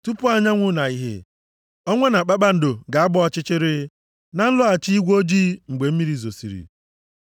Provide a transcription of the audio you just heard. Tupu anyanwụ na ìhè, ọnwa na kpakpando ga-agba ọchịchịrị, na nlọghachi igwe ojii mgbe mmiri zosiri.